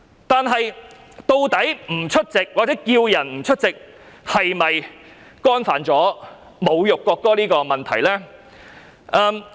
但是，呼籲不出席或參與須奏唱國歌的場合是否侮辱國歌呢？